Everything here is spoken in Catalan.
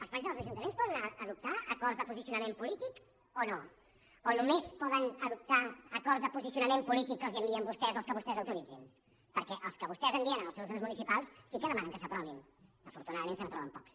els plens dels ajuntaments poden adoptar acords de posicionament polític o no o només poden adoptar acords de posicionament polític que els envien vostès o els que vostès autoritzin perquè els que vostès envien als seus grups municipals sí que demanen que s’aprovin afortunadament se n’aproven pocs